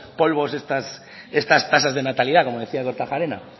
polvos estas tasas de natalidad como decía kortajarena